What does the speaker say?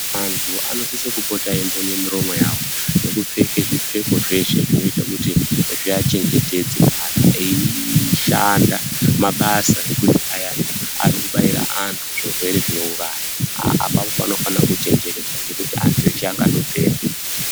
Andu anosise kupota eimbunye miromo yawo nekupfeka zvipfeko zveshe zvinoite kuti zviachengetedze kana eishanda mabasa ekuti ayani anode kubaira anhu zvirwere zvinouraya. Apapo panofanire kuchenjererwa ngekuti andu eshe angatopera.